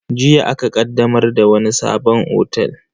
Jiya aka ƙaddamar da wani sabon otel.